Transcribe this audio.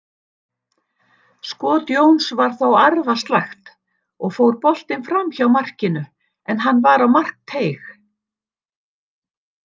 Skot Jóns var þó arfaslakt og fór boltinn framhjá markinu, en hann var á markteig.